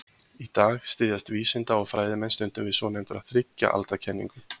í dag styðjast vísinda og fræðimenn stundum við svonefnda þriggja alda kenningu